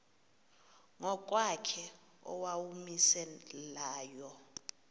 ngokwakhe owawumise layo